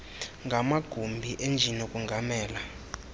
ngamagumbi enjini okongamela